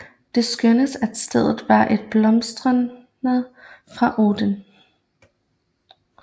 Det skønnes at stedet var et blotsted for Odin